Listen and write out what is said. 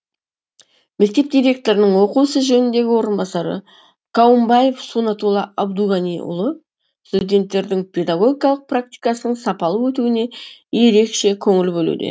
мектеп директорының оқу ісі жөніндегі орынбасары каумбаев сунатулла абдуғаниұлы студенттердің педагогикалық практикасының сапалы өтуіне ерекше көңіл білуде